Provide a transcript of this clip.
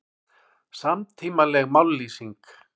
Samtímaleg mállýsing